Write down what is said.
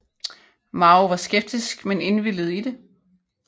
Mao var skeptisk med indvilligede i det